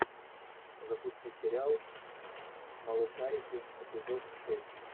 запусти сериал малышарики эпизод шесть